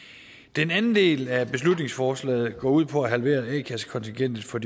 den anden del af beslutningsforslaget går ud på at halvere a kassekontingentet for